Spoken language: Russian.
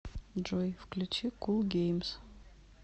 джой включи кул геймс